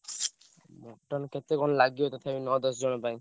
Mutton କେତେ କଣ ଲାଗିବ ତଥାପି ନଅ ଦଶ ଜଣ ପାଇଁ?